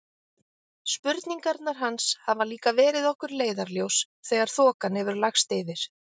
Spurningarnar hans hafa líka verið okkur leiðarljós þegar þokan hefur lagst yfir.